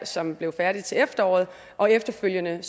som blev færdig til efteråret og efterfølgende